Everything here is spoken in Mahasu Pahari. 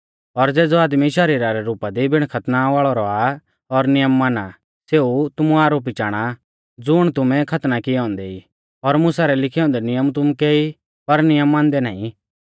और ज़ेज़ौ आदमी शरीरा रै रुपा दी बिणा खतना वाल़ौ रौआ और नियम माना आ सेऊ तुमु आरोपी चाणा आ ज़ुण तुमै खतना किऐ औन्दै ई और मुसा रै लिखै औन्दै नियम तुमुकै ई पर नियम मानदै नाईं